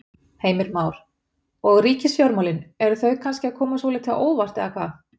Heimir Már: Og ríkisfjármálin, eru þau kannski að koma svolítið á óvart eða hvað?